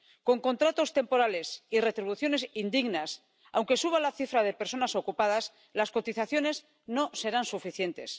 Con contratos temporales y retribuciones indignas, aunque suba la cifra de personas ocupadas, las cotizaciones no serán suficientes.